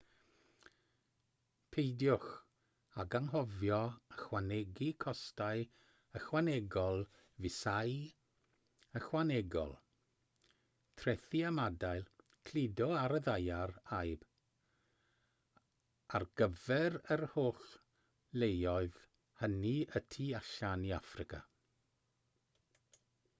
peidiwch ag anghofio ychwanegu costau ychwanegol fisâu ychwanegol trethi ymadael cludo ar y ddaear ayb ar gyfer yr holl leoedd hynny y tu allan i affrica